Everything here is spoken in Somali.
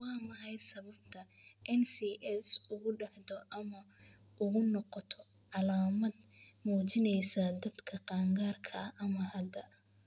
Waa maxay sababta NCS ugu dhacdo ama u noqoto calaamad muujinaysa dadka qaangaarka ah ma cadda.